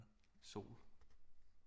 Sol